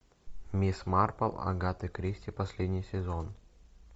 мисс марпл агаты кристи последний сезон